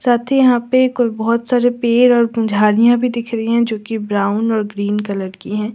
साथ ही यहां पे कुल बहुत सारे पेड़ और पुजारी अभी दिख रही है जो कि ब्राउन और ग्रीन कलर की है।